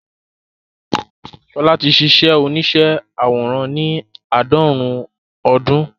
Ṣọlá ti ṣíṣe oníṣẹ́ àwòrán ní àádọ́rùn-ún ọdún